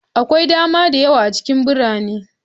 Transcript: Akwai dama da yawa a cikin birane.